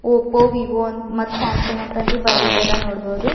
Oppo Vivo ಅಂತ್ Samsung ಅಂತ ಅಂದಿ ಬರ್ದಿದ್ದದ ನೋಡ್ಬಹುದು.